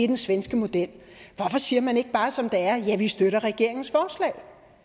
den svenske model hvorfor siger man det ikke bare som det er nemlig støtter regeringens forslag